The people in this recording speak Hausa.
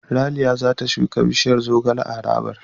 Ralia za ta shuka bishiyar zogale a harabar.